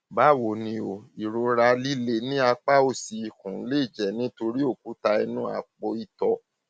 báwo ni o ìrora líle ní apá òsì ikùn lè jẹ nítorí òkúta inú àpòìtọ